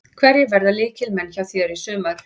Hverjir verða lykilmenn hjá þér í sumar?